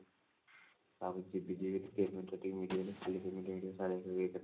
ଭାବୁଛି ଯିବି ଯିବି payment ଟା ଟିକେ ମିଳିଗଲେ ଖାଲି payment